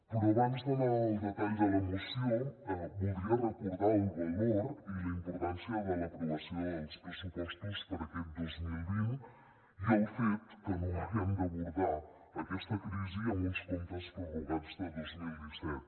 però abans d’anar al detall de la moció voldria recordar el valor i la importància de l’aprovació dels pressupostos per a aquest dos mil vint i el fet que no haguem d’abordar aquesta crisi amb uns comptes prorrogats de dos mil disset